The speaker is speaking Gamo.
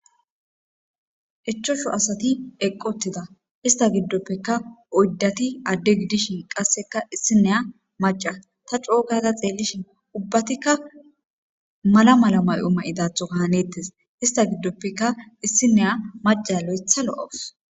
eIchchashu asati eqqotida ista giddoppeka oyddati adde gidishin qasseka issineya maca ta cookata xeellishin ubbatikka mala mala may7o ma7idatho kahanettes ista giddoppeka issineya maca loyetha lo'us.